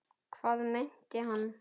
Hvað meinti hann?